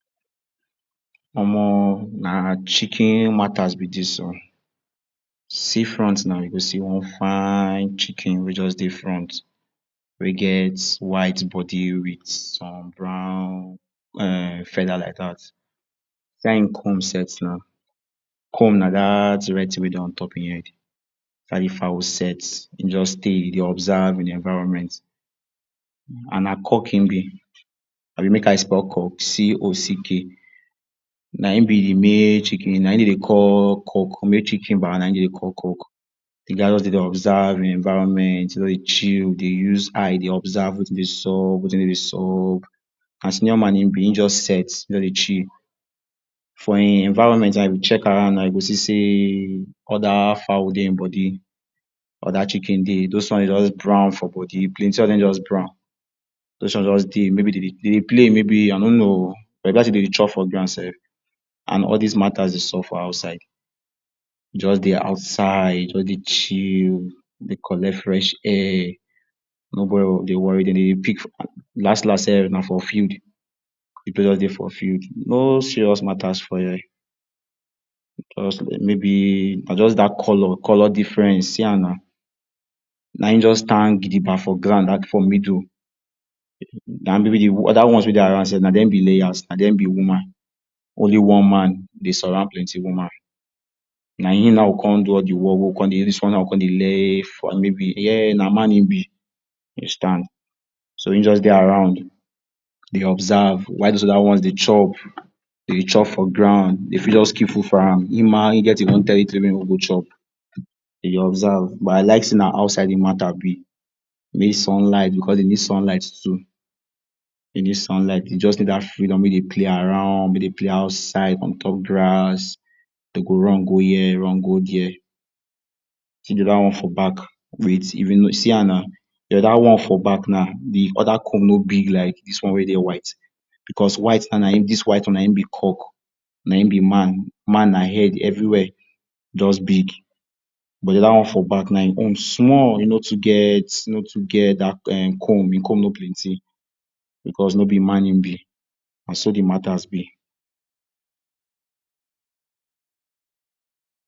Omo na chicken matas be dis o see front na, you go see one fine chicken wey just de front wey get white body with some brown feather like dat. see as em comb set now, comb na dat red thing wey de ontop em head see as d fowl set him just de, de observe im environment and na cock him be abi make I spell cock Cock na him be de male chicken na em dem de call cock male chiken ba na em dem de call cock. De guy just de observe him environment he just de chill, de use eye de observe wetin de sup, wetin no de sup na senior man em be him just set de chill for em environment na if you check around now you go see sey other fowl dey him body, other chicken day those ones dem just Brown for body plenty of dem just Brown those ones just they maybe den de play maybe i no no but e be like sey dem dey chop for ground sef and all dis matters dey sup for outside just de outside just de chill de collect fresh air no body dey worry dem, dem dey pick last last safe na for field, de place just de for field no serious matter for here just maybe na just dat color color difference see am na, na em just stand gidiba for ground for middle de other ones wey de around sef na dem be layers na dem be womam only one man de surround plenty woman na em now go come do all de work wey we go come dey lay na man em be you understand. so him just just de around de observe while does other ones de chop, dem de chop for ground dem fit just keep food for am, him ma get him own territory wey him go go chop de observe but I like sey na outside de mata be mey sunlight because dem need sunlght too dem need sunlight dem just need dat freedom make dem play around, make dem play outside, ontop grass dem go run go here run go there see d other one for back, with even see am na dat one for back now de other comb no big like dis ones wey dey white because dis white one na em be cock na em be man man na head every where just big but de other one for back now em own small e no too get e no too get dat comb, him comb no plenty because no be man him be na so d matters be